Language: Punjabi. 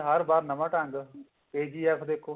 ਹਰ ਬਾਰ ਨਵਾਂ ਢੰਗ KGF